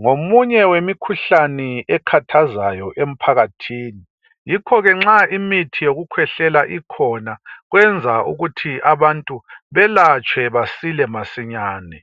ngomunye wemikhuhlane ekhathazayo emphakathini yikho ke nxa imithi yokukhwehlela ikhona kwenza ukuthi abantu belatshwe basile masinyane.